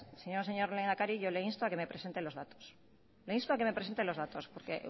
señor lehendakari yo le insto a que me presente los datos le insto a que me presente los datos porque